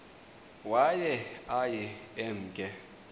waye aye emke